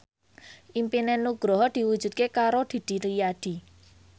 impine Nugroho diwujudke karo Didi Riyadi